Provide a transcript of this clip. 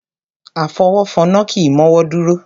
Afọwọ́fọnná kì í mọ́wọ́ dúró.